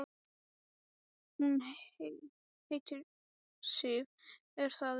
Hún heitir Sif, er það ekki?